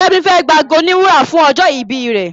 Femi fè gbà àgọ òní wúrà fún ojó ibí rẹ